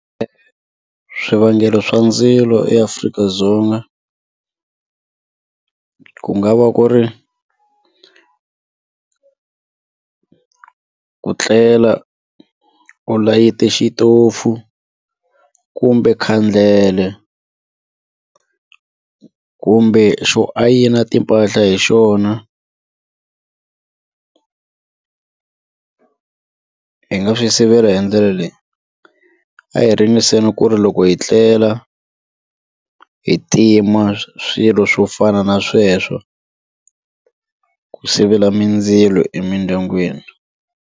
Swivangelo swa ndzilo eAfrika-Dzonga ku nga va ku ri ku tlela u layite xitofu kumbe khandlele kumbe xo ayina timpahla hi xona hi nga swi sivela hi ndlela leyi a hi ringeteni ku ri loko hi tlela hi tima swilo swo fana na sweswo ku sivela mindzilo emindyangwini.